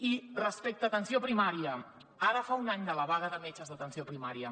i respecte a atenció primària ara fa un any de la vaga de metges d’atenció primària